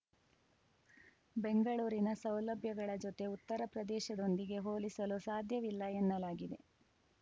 ಬೆಂಗಳೂರಿನ ಸೌಲಭ್ಯಗಳ ಜೊತೆ ಉತ್ತರ ಪ್ರದೇಶದೊಂದಿಗೆ ಹೋಲಿಸಲು ಸಾಧ್ಯವಿಲ್ಲ ಎನ್ನಲಾಗಿದೆ